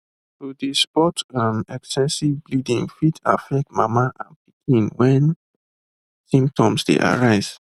to dey spot um excessive bleeding fit affect mama and pikin wen symptoms dey arise